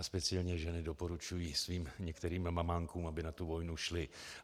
A speciálně ženy doporučují svým některým mamánkům, aby na tu vojnu šli.